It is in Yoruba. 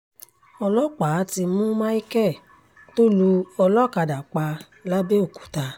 ọlọ́pàá ti mú micheal tó lu olókàdá pa làbẹ́òkúta